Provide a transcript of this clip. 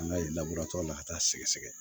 An ka la ka taa sɛgɛsɛgɛ